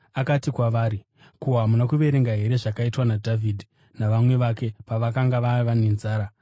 Akati kwavari, “Ko, hamuna kuverenga here zvakaitwa naDhavhidhi navamwe vake pavakanga vava nenzara?